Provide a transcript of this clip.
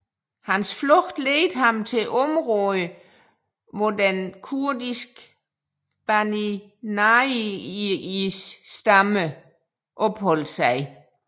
Hans flugt led ham til området hvor den kurdiske Bani Narjis stamme opholdt sig